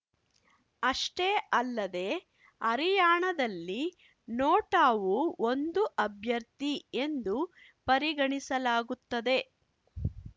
ಅಷ್ಟೇ ಅಲ್ಲದೇ ಹರಿಯಾಣದಲ್ಲಿ ನೋಟಾವೂ ಒಂದು ಅಭ್ಯರ್ಥಿ ಎಂದು ಪರಿಗಣಿಸಲಾಗುತ್ತದೆ